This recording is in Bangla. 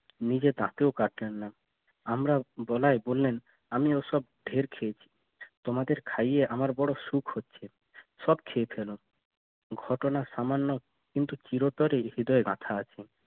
নিজে কাটলেন না আমরা বলাই বললেন আমি ওসব ঢের খেয়েছি তোমাদের ভাবি আমার বড় সুখ হচ্ছে সব খেয়ে ফেলো ঘটনা সামান্য কিন্তু চিরতরে হৃদয়ে রাখা আছে।